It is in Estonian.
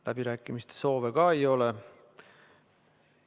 Läbirääkimiste soove ei ole.